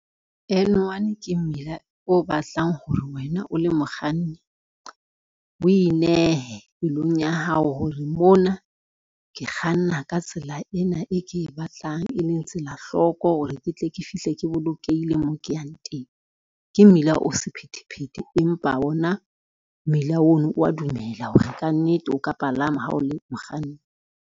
N one ke mmila o batlang ho re wena o le mokganni, o inehe pelong ya hao hore mona ke kganna ka tsela ena e ke e batlang e leng tsela hloko hore, ke tle ke fihle ke bolokehile moo ke yang teng. Ke mmila o sephethephethe, empa ona mmila ono wa dumela hore ka nnete o ka palama ha o le mokganni.